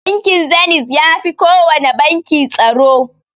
Bankin Zeniz yafi kowana banki tsaro.